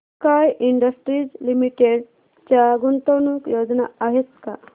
sky industries limited च्या गुंतवणूक योजना आहेत का